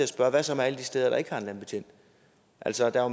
spørge hvad så med alle de steder der ikke har en landbetjent altså der er